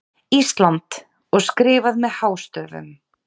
ÍSLAND og skrifað með hástöfum.